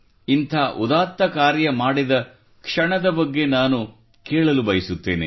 ಇಂಥ ಉದಾತ್ತ ಕಾರ್ಯ ಮಾಡಿದ ಕ್ಷಣದ ಬಗ್ಗೆ ನಾನು ಕೇಳಬಯಸುತ್ತೇನೆ